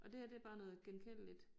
Og det her det bare noget genkendeligt